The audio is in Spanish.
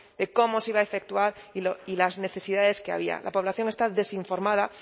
de cómo se iba a efectuar y las necesidades que había la población está desinformada